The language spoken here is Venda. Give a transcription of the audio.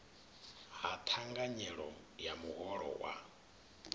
ha thanganyelo ya muholo wa